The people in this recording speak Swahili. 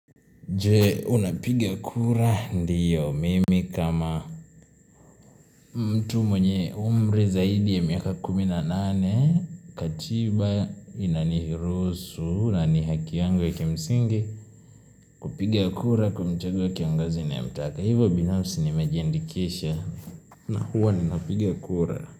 Je, unapiga kura ndio mimi kama mtu mwenye umri zaidi ya miaka kumi na nane, katiba, inaniruhusu, nanihaki yangu ya kimsingi, kupiga kura kumchagua kiongozi na ya mtaka. Hivo binafsi nimejiandikisha na huwa ninapiga kura.